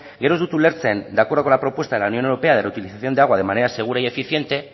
gero ez dut ulertzen de acuerdo con la propuesta de la unión europea de reutilización de agua de manera segura y eficiente